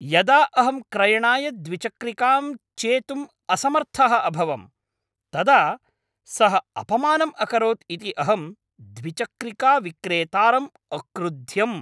यदा अहं क्रयणाय द्विचक्रिकां चेतुम् असमर्थः अभवं तदा सः अपमानम् अकरोत् इति अहं द्विचक्रिकाविक्रेतारम् अक्रुध्यम्।